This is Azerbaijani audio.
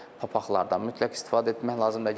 Papaqlardan mütləq istifadə etmək lazımdır.